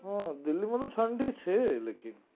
હા દિલ્હી માં તો ઠંડી છે લેકિન